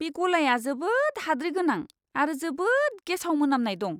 बे गलाया जोबोद हाद्रि गोनां आरो जोबोद गेसाव मोनामनाय दं!